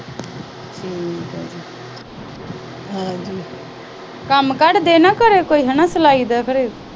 ਕੰਮ ਕੜ ਦਿਆਂ ਕਰੋ ਨਾ ਕੋਈ ਸਲਾਈ ਦਾ ਘਰੇ।